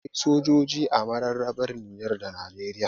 Akwai sojoji a mararrabar Nijar da Najeriya